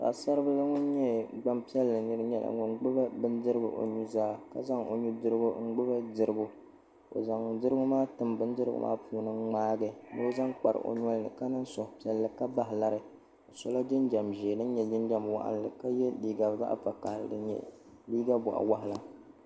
Paɣi saribil ŋun nyɛ gban piɛli ŋun gbubi bindirigu o nu zaa ka zan nu dirigu n gbubi dirigu o zan dirigu maa n tim bindirigu maa puuni n ŋmaagi ni o zan kpari o nolini ka suhupiɛlli ka bahi lari o sola jinjam ʒee din nyɛ zaɣ' waɣinli ka yɛ liiga zaɣ'vakahili din nyɛ boɣi waɣila